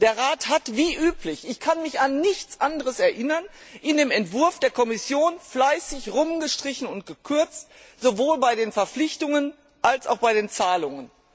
Der Rat hat wie üblich ich kann mich an nichts anderes erinnern in dem Entwurf der Kommission fleißig rumgestrichen und gekürzt, sowohl bei den Verpflichtungen als auch bei den Zahlungen.